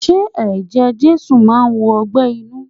Ṣé Eje Jésù máa wo ọgbẹ́ inú?